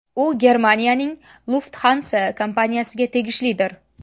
U Germaniyaning Lufthansa kompaniyasiga tegishlidir.